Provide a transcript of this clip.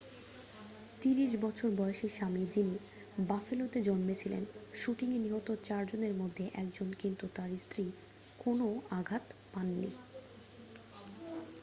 30 বছর বয়সী স্বামী যিনি বাফেলোতে জন্মেছিলেন শুটিংয়ে নিহত চারজনের মধ্যে একজন কিন্তু তার স্ত্রী কোনও আঘাত পায়নি